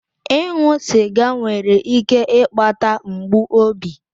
Ịṅụ sịga nwere ike ịkpata mgbu obi.